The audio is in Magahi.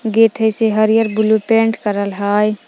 गेट है से हरियर ब्लू पेंट करल हय।